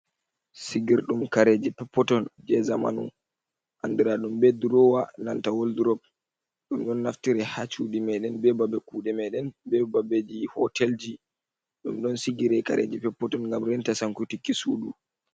Sigirdum kareji peppoton je zamanu andra dum be drowa nanta woldrop ,dum don naftiri ha cudi meden be babe kude meden be babeji hotelji dum don sigiri kareji peppoton gam renta sankutikki sudu.